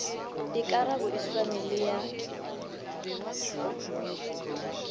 dikarabo e swane le ya